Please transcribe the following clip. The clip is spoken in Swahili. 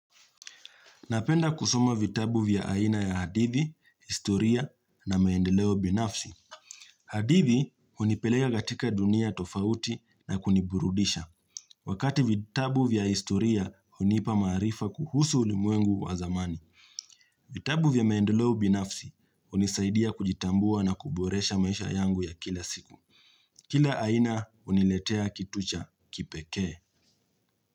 Napenda kusoma vitabu vya aina ya hadithi, historia na maendeleo binafsi. Hadithi, hunipeleka katika dunia tofauti na kuniburudisha. Wakati vitabu vya historia, huniipa maarifa kuhusu ulimwengu wa zamani. Vitabu vya maendeleo binafsi, hunisaidia kujitambua na kuboresha maisha yangu ya kila siku. Kila aina, huniletea kitu cha kipeke.